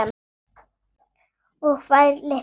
Og fær, litla mín.